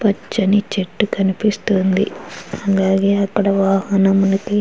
పచ్చని చెట్టు కనిపిస్తోంది. అలాగే అక్కడ వాహనమునకి --